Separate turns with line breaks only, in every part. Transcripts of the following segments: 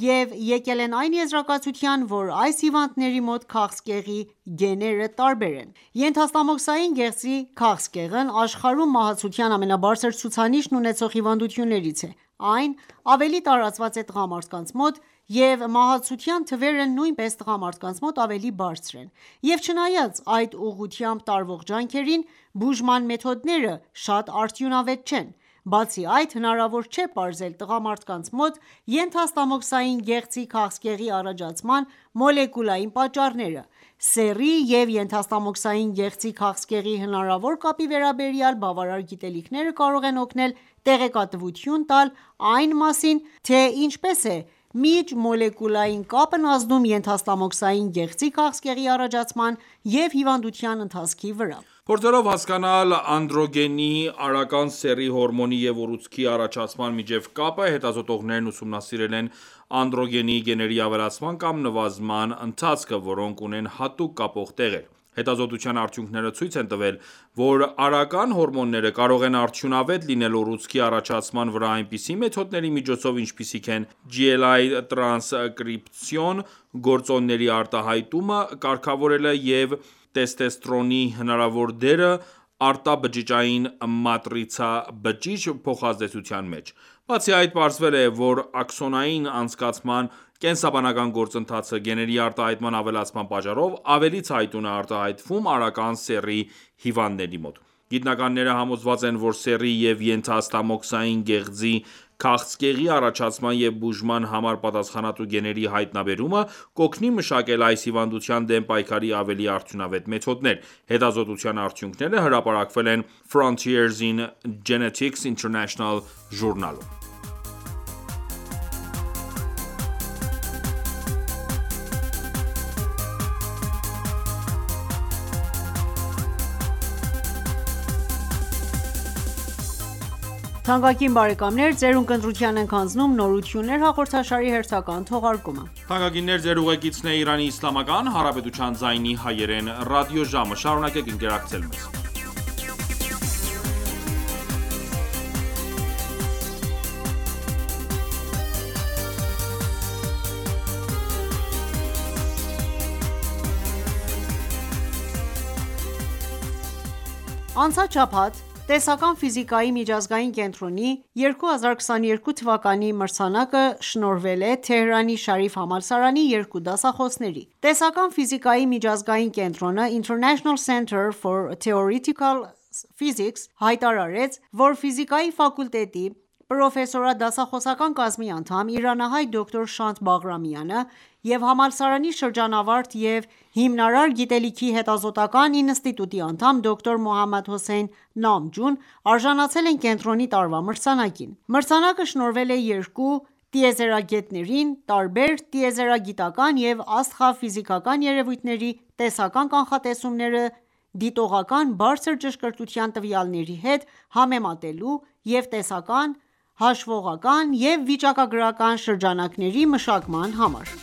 և եկել այն եզրակացության, որ այս հիվանդների մոտ քաղցկեղի գեները տարբեր են: Ենթաստամոքսային գեղձի քաղցկեղն աշխարհում մահացության ամենաբարձր ցուցանիշն ունեցող հիվանդություններից է: Այն ավելի տարածված է տղամարդկանց մոտ և մահացության թվերը նույնպես տղամարդկանց մոտ ավելի բարձր են: Եվ չնայած այդ ուղղությամբ տարվող ջանքերին, բուժման մեթոդները շատ արդյունավետ չեն: Բացի այդ, հնարավոր չէ պարզել տղամարդկանց մոտ ենթաստամոքսային գեղձի քաղցկեցի առաջացման մոլեկուլային պատճառները: Սեռի և ենթաստամոքսային գեղձի քաղցկեղի հնարավոր կապի վերաբերյալ բավարար գիտելիքները կարող են օգնել տեղեկատվություն տալ այն մասին, թե ինչպես է միջմոլեկուլային կապն ազդում ենթաստամոքսային գեղձի քաղցկեղի առաջացման և հիվանդության ընթացքի վրա:
Փորձելով հասկանալ անդրոգենի՝ արական սեռի հորմոնի և ուռուցքի առաջացման միջև կապը, հետազոտողներն ուսումնասիրել են անդրոգենի գեների ավելացման կամ նվազման ընթացքը, որոնք ունեն հատուկ կապող տեղեր: Հետազոտության արդյունքները ցույց են տվել, որ արական հորմոնները կարող են արդյունավետ լինել ուռուցքի առաջացման վրա այնպիսի մեթոդների միջոցով, ինչպիսիք են GLI տրանսկրիպցիոն գործոնների արտահայտումը կարգավորելը և տեստեստերոնի հնարավոր դերը արտաբջջային մատրիցա-բջիջ փոխազդեցության մեջ: Բացի այդ պարզվել է, որ աքսոնային անցկացման կենսաբանական գործընթացը *, գեների արտահայտման ավելացման պատճառով, ավելի ցայտուն է արտահայտվում արական սեռի հիվանդների մոտ: Գիտնականները համոզված են, որ սեռի և ենթաստամոքսային գեղձի քաղցկեղի առաջացման և բուժման համար պատասխանատու գեների հայտնաբերումը, կօգնի մշակել այս հիվանդության դեմ պայքարի ավելի արդյունավետ մեթոդներ: Հետազոտության արդյունքները հրապարակվել են Frontiers in Genetics International Journal-ում։
Անցած շաբաթ Տեսական ֆիզիկայի միջազգային կենտրոնի 2022 թվականի մրցանակը շնորհվել է Թեհրանի Շարիֆի համալսարանի 2 դասախոսներին։ Տեսական ֆիզիկայի միջազգային կենտրոնը՝ (International Centre for Theoretical Physics «ICTP»), հայտարարեց, որ Ֆիզիկայի ֆակուլտետի պրոֆեսորադասախոսական կազմի անդամ, իրանահայ դոկտոր Շանթ Բաղրամը և համալսարանի շրջանավարտ և հիմնարար գիտելիքի հետազոտական ինստիտուտի անդամ դոկտոր Մոհամմադ Հոսեյն Նամջուն արժանացել են կենտրոնի տարվա մրցանակին Մրցանակը շնորհվել է երկու տիրզերագետներին՝ տարբեր տիեզերագիտական և աստղաֆիզիկական երևույթների տեսական կանխատեսումները դիտողական բարձր ճշգրտության տվյալների հետ համեմատելու և տեսական, հաշվողական և վիճակագրական շրջանակների մշակման համար: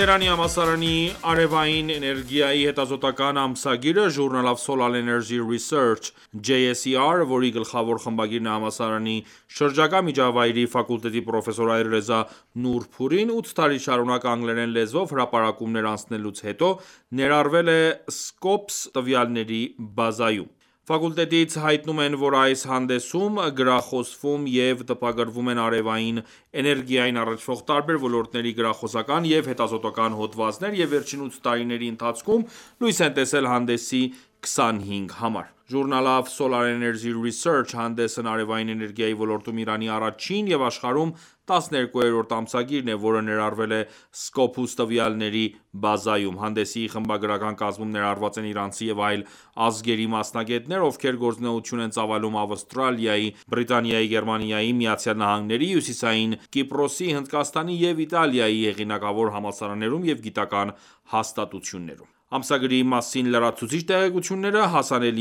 Թեհրանի համալսարանի արևային էներգիայի հետազոտական ամսագիրը (Journal of Solar Energy Research JSER), որի գլխավոր խմբագիրն է համալսարանի շրջակա միջավայրի ֆակուլտետի պրոֆեսոր Ալիռեզա Նուրփուրին, 8 տարի շարունակ անգլերեն լեզվով հրապարակումներ անելուց հետո, ներառվել է Scopus տվյալների բազայում։ Ֆակուլտետից հայտնում են, որ այս հանդեսում գրախոսվում և տպագրվում են արևային էներգիային առնչվող տարբեր ոլորտների գրախոսական և հետազոտական հոդվածներ և վերջին 8 տարիների ընթացքում լույս է տեսել հանդեսի 25 համար: Journal of Solar Energy Research (JSER) հանդեսն արևային էներգիայի ոլորտում Իրանի առաջին և աշխարհում 12-րդ ամսագիրն է, որը ներառվել է Scopus տվյալների բազայում: Հանդեսի խմբագրական կազմում ներառված են իրանցի և այլ ազգերի մասնագետներ, ովքեր գործունեություն են ծավալում Ավստրալիայի, Բրիտանիայի, Գերմանիայի, ԱՄՆ-ի, Հյուսիսային Կիպրոսի, Հնդկաստանի և Իտալիայի հեղինակավոր համալսարաններում և գիտական հաստատություններում: Ամսագրի մասին լրացուցիչ տեղեկությունները հասանելի